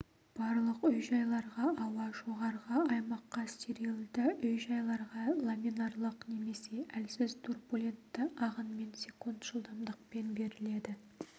барлық үй-жайларға ауа жоғарғы аймаққа стерилді үй-жайларға ламинарлық немесе әлсіз турбулентті ағынмен секунд жылдамдықпен беріледі